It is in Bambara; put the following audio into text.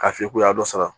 K'a f'i ye k'u y'a dɔ sara